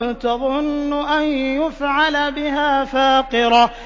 تَظُنُّ أَن يُفْعَلَ بِهَا فَاقِرَةٌ